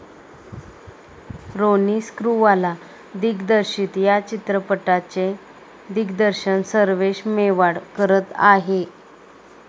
रोनी स्क्रूवाला दिग्दर्शित या चित्रपटाचे दिग्दर्शन सर्वेश मेवाड करत आहे.